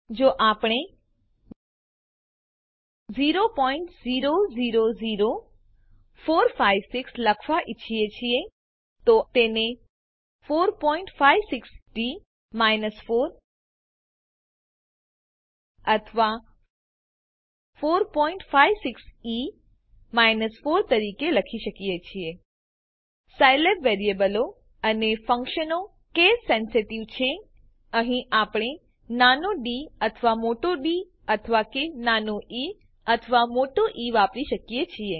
જો આપણે 0000456 લખવા ઈચ્છીએ છીએ તો આપણે તેને 456ડી 4 અથવા 456ઇ 4 તરીકે લખી શકીએ છીએ સાયલેબ વેરીએબલો અને ફંક્શનો કેસ સેન્સિટીવ છે અહીં આપણે નાનો ડી અથવા મોટો ડી અથવા કે નાનો ઇ અથવા મોટો ઇ વાપરી શકીએ છીએ